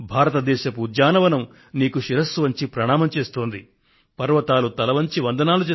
నేను కూడా కృతజ్ఞతలతో నీకు నమస్కరిస్తున్నాను ఓ సాహసవంతుడైన సైనికుడా